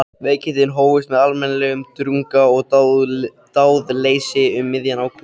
Veikindin hófust með almennum drunga og dáðleysi um miðjan ágúst.